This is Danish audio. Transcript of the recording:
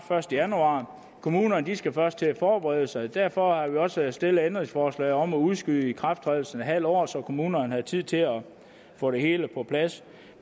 første januar kommunerne skal først til at forberede sig og derfor har vi også stillet et ændringsforslag om at udskyde ikrafttrædelsen en halv år så kommunerne har tid til at få det hele på plads